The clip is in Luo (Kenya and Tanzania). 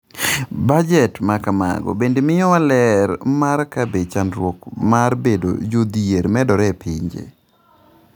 Bajet ma kamago bende miyowa ler mar ka be chandruok mar bedo jodhier medore e pinje.